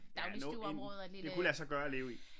Ja en det kunne lade sig gøre at leve i